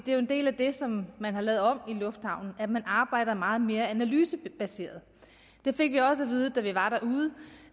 er jo en del af det som man har lavet om i lufthavnen at man arbejder meget mere analysebaseret vi fik også at vide da vi var derude